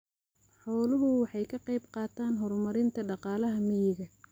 Xooluhu waxay ka qaybqaataan horumarinta dhaqaalaha miyiga.